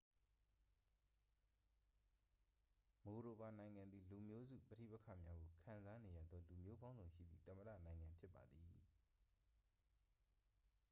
မိုဒိုဗာ နိုင်ငံသည် လူမျိုးစုပဋိပက္ခများကိုခံစားနေရသော လူမျိုးပေါင်းစုံရှိသည့် သမ္မတနိုင်ငံဖြစ်ပါသည်